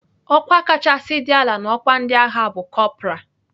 Ọkwa kachasị dị ala n'ọkwa ndị agha bụ kọpral.